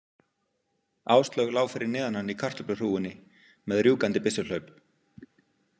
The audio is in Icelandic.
Áslaug lá fyrir neðan hann í kartöfluhrúgunni með rjúkandi byssuhlaup.